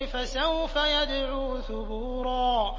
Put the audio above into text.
فَسَوْفَ يَدْعُو ثُبُورًا